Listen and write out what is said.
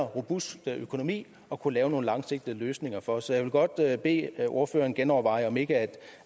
robust økonomi at kunne lave nogle langsigtede løsninger for så jeg vil godt bede bede ordføreren genoverveje om ikke